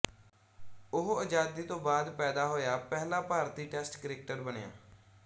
ਉਹ ਆਜ਼ਾਦੀ ਤੋਂ ਬਾਅਦ ਪੈਦਾ ਹੋਇਆ ਪਹਿਲਾ ਭਾਰਤੀ ਟੈਸਟ ਕ੍ਰਿਕਟਰ ਬਣਿਆ